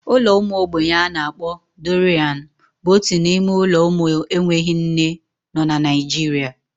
Ụlọ ụmụ ogbenye a na-akpọ Dọrianu bụ otu n'ime ụlọ ụmụ enweghị nne nọ na Naijiria.